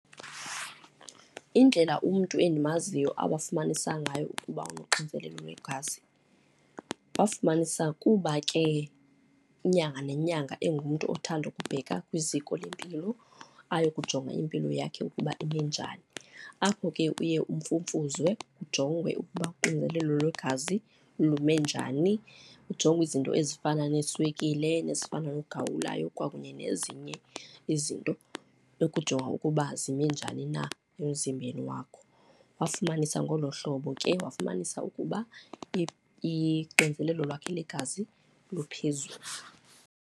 Indlela umntu endimaziyo awafumanisa ngayo ukuba unoxinzelelo lwegazi, wafumanisa kuba ke inyanga nenyanga engumntu othanda ukubheka kwiziko lempilo ayokujonga impilo yakhe ukuba ime njani. Apho ke uye umfumfuzwe, ujongwe ukuba uxinzelelo lwegazi lume njani, kujongwe izinto ezifana neeswekile nezifana nogawulayo kwakunye nezinye izinto ukujonga ukuba zime njani na emzimbeni wakho. Wafumanisa ngolo hlobo ke, wafumanisa ukuba ixinzelelo lwakhe lwegazi luphezulu.